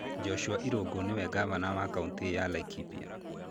Joshua Irungu nĩwe ngavana wa kaũntĩ ya Laikipia.